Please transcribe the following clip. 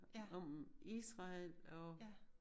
Om Israel og